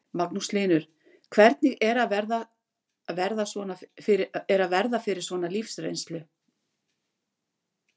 Magnús Hlynur: Hvernig er að verða fyrir svona lífsreynslu?